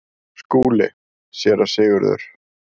SKÚLI: Séra Sigurður!